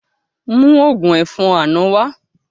Mú ògún ẹ̀fọn àná wá